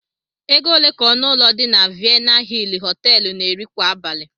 Ego ole ka ọnụ ụlọ dị na Vienna hill Họteelụ na-eri kwa abalị?